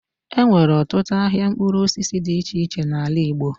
E nwere ọtutụ ahịa mkpụrụ osisi dị iche iche n'ala Igbo.